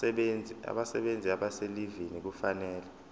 abasebenzi abaselivini kufanele